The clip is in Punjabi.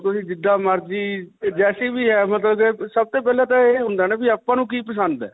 ਹੋਰ ਤੁਸੀਂ ਜਿੱਦਾਂ ਮਰਜੀ ਤੇ ਜੈਸੀ ਵੀ ਹੈ. ਮਤਲਬ ਸਭ ਤੋ ਪਹਿਲਾਂ ਤਾਂ ਇਹ ਹੁੰਦਾ ਨਾ ਵੀ ਆਪਾਂ ਨੂੰ ਕੀ ਪਸੰਦ ਹੈ?